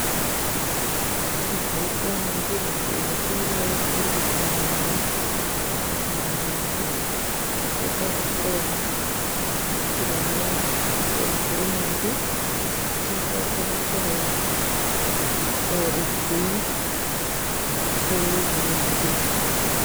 Thirikari cia mũingĩ nĩ ciĩhokeirwo ũrigitani mwega wa ũgima wa mwĩrĩ, cigacooka ikehokerwo gĩthomo kĩega kũrĩ mũingĩ, igacooka ikehokerwo ũgitĩri kũrĩ mũingĩ.